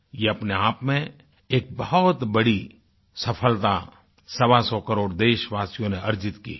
ये अपने आप में एक बहुत बड़ी सफ़लता सवासौ करोड़ देशवासियों ने अर्जित की है